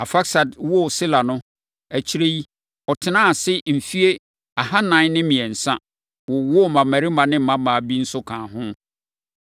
Arfaksad woo Sela no, akyire yi, ɔtenaa ase mfeɛ ahanan ne mmiɛnsa, wowoo mmammarima ne mmammaa bi nso kaa ho.